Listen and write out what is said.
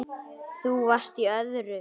Þú varst í öðru.